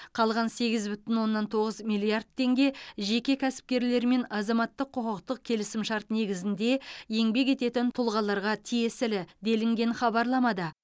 қалған сегіз бүтін оннан тоғыз миллиард теңге жеке кәсіпкерлер мен азаматтық құқықтық келісімшарт негізінде еңбек ететін тұлғаларға тиесілі делінген хабарламада